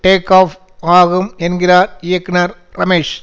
take off ஆகும் என்கிறார் இயக்குனர் ரமேஷ்